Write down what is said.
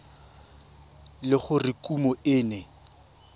le gore kumo e ne